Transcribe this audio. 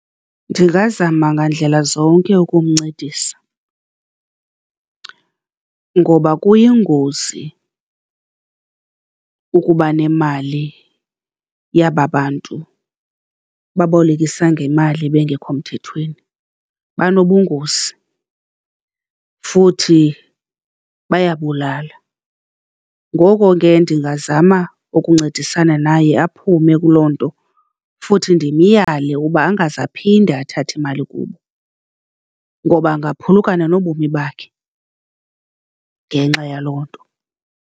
Ndingazama ngandlela zonke ukumncedisa, ngoba kuyingozi ukubanemali yaba bantu babolekisa ngemali bengekho mthethweni. Banobungozi futhi bayabulala. Ngoko ke ndingazama ukuncedisana naye aphume kuloo nto futhi ndimyale ukuba angaze aphinde athathe imali kubo ngoba angaphulukana nobomi bakhe ngenxa yaloo nto.